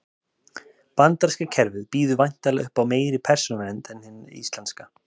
bandaríska kerfið býður væntanlega upp á meiri persónuvernd en hið íslenska